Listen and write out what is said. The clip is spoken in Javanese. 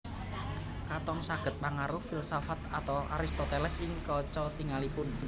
Katon sanget pangaruh filsafat Aristoteles ing kaca tingalipun